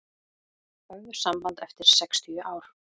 Höfðu samband eftir sextíu ár